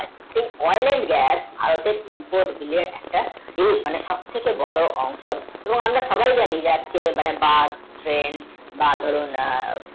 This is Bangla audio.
এই olin gas ভারতের input vile একটা viuss মানে সব থেকে বড়ো অংশ তো আমরা সবাই জানি যে আজকে বাস tren বা দরুণ